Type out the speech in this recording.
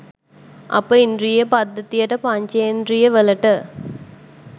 අපේ ඉන්ද්‍රිය පද්ධතියට පංචෙන්ද්‍රියවලට